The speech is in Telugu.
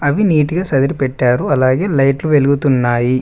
ఇవి నీటుగా సర్దిపేట్టారు అలాగే లైట్లు వెలుగుతున్నాయి.